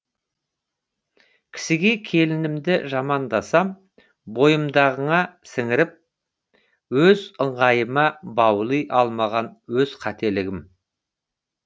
кісіге келінімді жамандасам бойымдағыны сіңіріп өз ыңғайыма баули алмаған өз қателігім